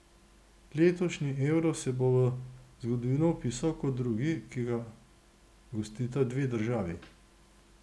Letošnji Euro se bo v zgodovino vpisal kot drugi, ki ga gostita dve državi.